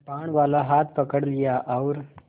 कृपाणवाला हाथ पकड़ लिया और